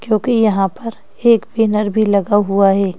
क्योंकि यहां पर एक बैनर भी लगा हुआ है।